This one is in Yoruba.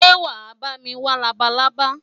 Ṣé wàá bá mi wá labalábá?